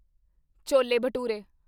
chole bhature